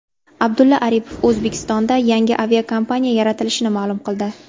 Abdulla Aripov O‘zbekistonda yangi aviakompaniya yaratilishini ma’lum qildi.